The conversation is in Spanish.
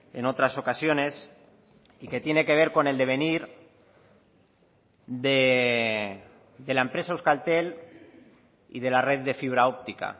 en otras ocasiones y que tiene que ver con el devenir de la empresa euskaltel y de la red de fibra óptica